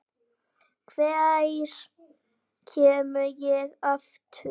Hvenær kem ég aftur?